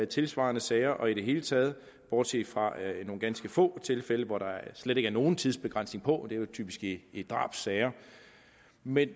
tilsvarende sager og i det hele taget bortset fra nogle få tilfælde hvor der slet ikke er nogen tidsbegrænsning og det er jo typisk i i drabssager men